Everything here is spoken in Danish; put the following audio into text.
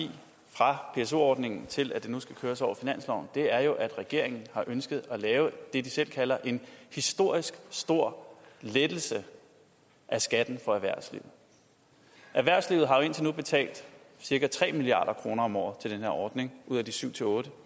fra pso ordningen til at det nu skal køres over finansloven er jo at regeringen har ønsket at lave det de selv kalder en historisk stor lettelse af skatten for erhvervslivet erhvervslivet har indtil nu betalt cirka tre milliard kroner om året til den her ordning ud af de syv otte